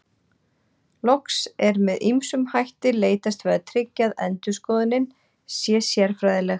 Loks er með ýmsum hætti leitast við að tryggja að endurskoðunin sé sérfræðileg.